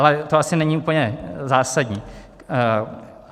Ale to asi není úplně zásadní.